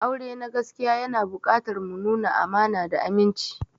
Aure na gaskiya yana buƙatar mu nuna amana da aminci.